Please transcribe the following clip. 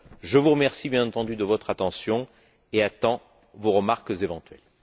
Je vous remercie, bien entendu, de votre attention et attend vos remarques éventuelles.